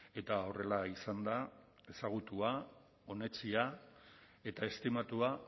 eta horrela izan da ezagutua onetsia eta estimatua